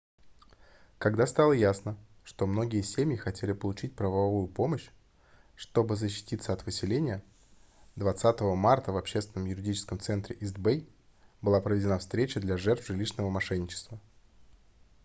когда стало ясно что многие семьи хотели получить правовую помощь чтобы защититься от выселения 20 марта в общественном юридическом центре ист-бэй была проведена встреча для жертв жилищного мошенничества